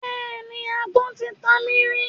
Bẹ́ẹ̀ni, agbọ́n ti ta mí rí.